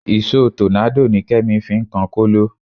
Ìṣó tọ́nádò ni Kẹ́mi fi ń kan kóló